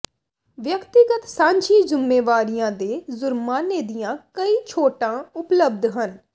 ਵਿਅਕਤੀਗਤ ਸਾਂਝੀ ਜ਼ੁੰਮੇਵਾਰੀਆਂ ਦੇ ਜ਼ੁਰਮਾਨੇ ਦੀਆਂ ਕਈ ਛੋਟਾਂ ਉਪਲਬਧ ਹਨ